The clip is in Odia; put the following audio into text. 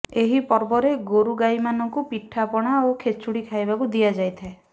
ଏହି ପର୍ବରେ ଗୋରୁ ଗାଇମାନଙ୍କୁ ପିଠା ପଣା ଓ ଖେଚୁଡି ଖାଇବାକୁ ଦିଆଯାଇଥାଏ